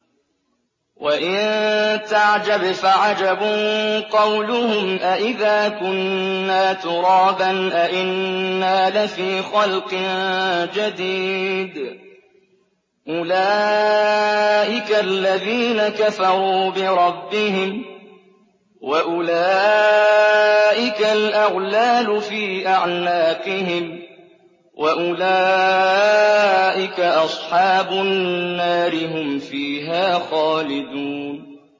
۞ وَإِن تَعْجَبْ فَعَجَبٌ قَوْلُهُمْ أَإِذَا كُنَّا تُرَابًا أَإِنَّا لَفِي خَلْقٍ جَدِيدٍ ۗ أُولَٰئِكَ الَّذِينَ كَفَرُوا بِرَبِّهِمْ ۖ وَأُولَٰئِكَ الْأَغْلَالُ فِي أَعْنَاقِهِمْ ۖ وَأُولَٰئِكَ أَصْحَابُ النَّارِ ۖ هُمْ فِيهَا خَالِدُونَ